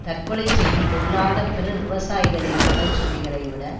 தற்கொலை செய்து கொள்ளாத பிற விவசாயிகளின் கடன் சுமைகளை விட